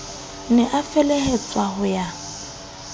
ne a felehetswa ho ya